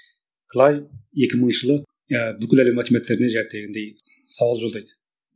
клай екі мыңыншы жылы ы бүкіл әлем математиктеріне сауал жолдайды